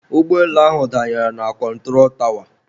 ụgbọelu ahụ danyere na kọntụro tawa